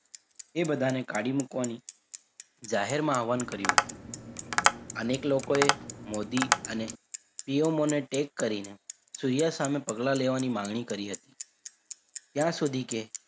એ બધાને કાડી મુકવાની જાહેરમાં આહવાહન કર્યું હતું અનેક લોકોએ મોદી અને Shiomonetak કરીને સુર્યા સામે પગલાં લેવાની માંગણી કરી હતી ત્યાં સુધી કે,